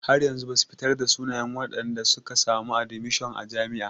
Har yanzu basu fitar da sunayen wadanda suka samu admishon a jami'a.